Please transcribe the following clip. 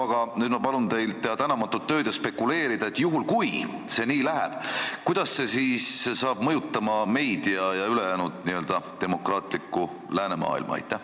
Aga nüüd palun ma teil teha tänamatut tööd ja spekuleerida, et kui see nii läheb, kuidas see siis saab mõjutama meid ja ülejäänud demokraatlikku läänemaailma!